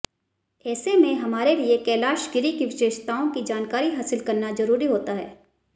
ऐसे में हमारे लिए कैलाशगिरी की विशेषताओं की जानकारी हासिल करना जरूरी होता है